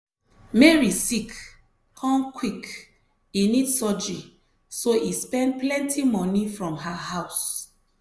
mary sick come quick e need surgery so e spend plenty moni from her house.